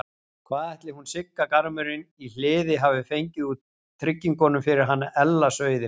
Hvað ætli hún Sigga garmurinn í Hliði hafi fengið úr tryggingunum fyrir hann Ella sauðinn?